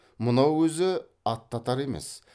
мынау өзі аттатар емес